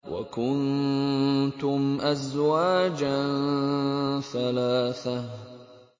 وَكُنتُمْ أَزْوَاجًا ثَلَاثَةً